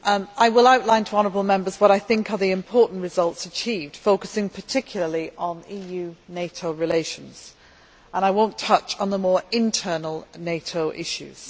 I will outline to honourable Members what I think are the important results achieved, focusing particularly on EU NATO relations and I will not touch on the more internal NATO issues.